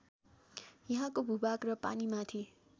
यहाँको भूभाग र पानीमाथि